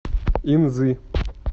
инзы